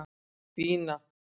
Bína